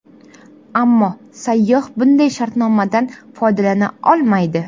Ammo sayyoh bunday shartnomadan foydalana olmaydi.